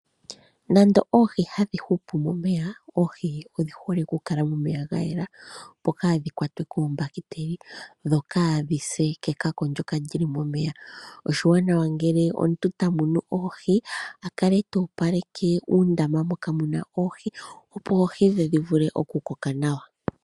Nande oohi hadhi hupu momeya, oohi odhi hole okukala momeya gayela opo kaadhi kwatwe koombahiteli, dho kaadhise kekako ndjoka lyili momeya. Oshiwanawa ngele omuntu tamunu oohi akale toopaleke uundama moka muna oohi , opo oohi dhe dhivule okukoka nawa.